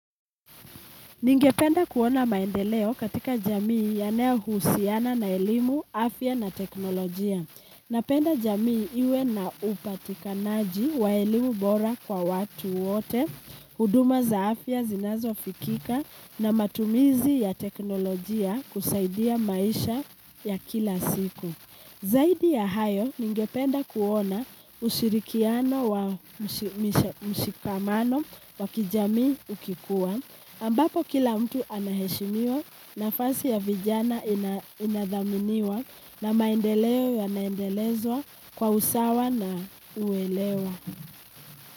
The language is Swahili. Ningependa kuona maendeleo katika jamii yanayohusiana na elimu afya na technolojia napenda jamii iwe na upatika naji wa elimu bora kwa watu wote, huduma za afya zinazo fikika na matumizi ya teknolojia kusaidia maisha ya kila siku. Zaidi ya hayo ningependa kuona ushirikiano wa mshikamano wa kijamii ukikua, ambapo kila mtu anaheshimiwa na fasi ya vijana inadhaminiwa na maendeleo ya naendelezwa kwa usawa na uelewa.